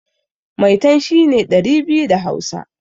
Maitan' shine ɗari biyu da hausa.